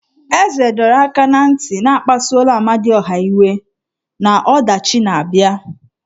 Eze dọrọ aka na ntị na akpasuola Amadiọha iwe na ọdachi na-abịa.